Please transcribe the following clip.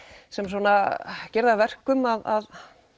sem gera það að verkum að